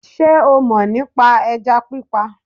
Sé o mò ní pa ẹja pípa